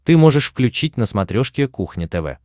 ты можешь включить на смотрешке кухня тв